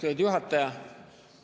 Austatud juhataja!